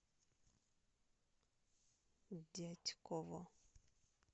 дятьково